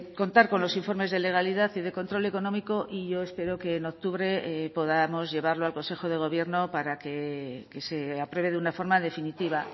contar con los informes de legalidad y de control económico y yo espero que en octubre podamos llevarlo al consejo de gobierno para que se apruebe de una forma definitiva